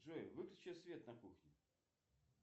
джой выключи свет на кухне